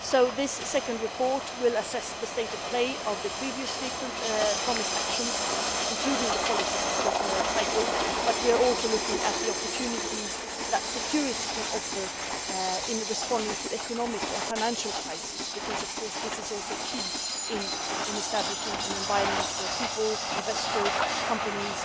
This second report will assess the state of play of the previously promised actions, including the policy cycle, but we are also looking at the opportunities that security can offer in responding to the economic and financial crisis, because of course this is also key in establishing an environment where people, investors and companies